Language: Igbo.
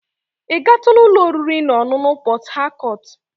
Ị gatula ụlọ oriri na ọṅụṅụ Port Harcourt?